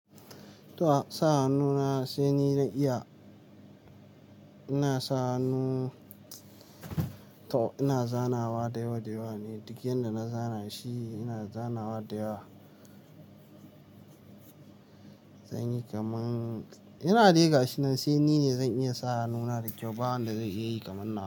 To sa hannu na sai ni na iya. Ina sa hannu, to ina zanawa da yawa da yawa ne, duk yanda na zana shi ina zanawa da yawa. Zanyi kaman ina dai gashi nan sai ni ne zan iya sa hannuna da kyau ba wanda zai iya yi kaman nawa.